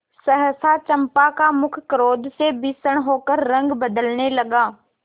सहसा चंपा का मुख क्रोध से भीषण होकर रंग बदलने लगा